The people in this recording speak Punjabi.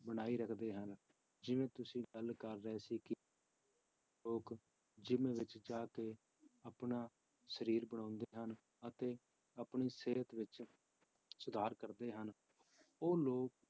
ਬਣਾਈ ਰੱਖਦੇ ਹਨ, ਜਿਵੇਂ ਤੁਸੀਂ ਗੱਲ ਕਰ ਰਹੇ ਸੀ ਕਿ ਲੋਕ ਜਿੰਮ ਵਿੱਚ ਜਾ ਕੇ ਆਪਣਾ ਸਰੀਰ ਬਣਾਉਂਦੇ ਹਨ, ਅਤੇ ਆਪਣੀ ਸਿਹਤ ਵਿੱਚ ਸੁਧਾਰ ਕਰਦੇ ਹਨ, ਉਹ ਲੋਕ